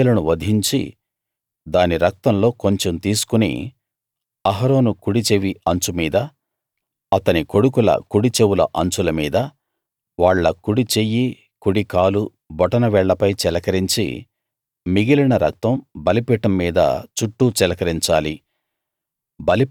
ఆ పొట్టేలును వధించి దాని రక్తంలో కొంచెం తీసుకుని అహరోను కుడి చెవి అంచు మీద అతని కొడుకుల కుడి చెవుల అంచుల మీద వాళ్ళ కుడి చెయ్యి కుడి కాలు బొటన వేళ్ళపై చిలకరించి మిగిలిన రక్తం బలిపీఠం మీద చుట్టూ చిలకరించాలి